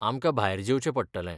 आमकां भायर जेवचें पडटलें.